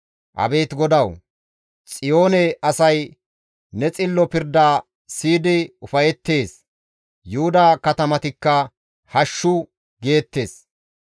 Abeet GODAWU! Xiyoone asay ne xillo pirda siyidi ufayettees; Yuhuda katamatikka, «Hashshu» geettes.